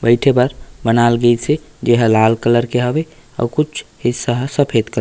बैठे भर बनाइल गैसे जे हा लाल कलर के हवे अउ कुछ हिस्सा ह सफ़ेद कलर --